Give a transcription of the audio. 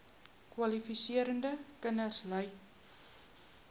kwalifiserende kinders ly